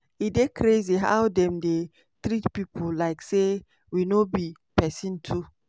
"e dey crazy how dem dey treat pipo like say we no be pesin too.